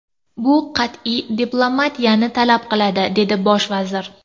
Bu qat’iy diplomatiyani talab qiladi”, dedi bosh vazir.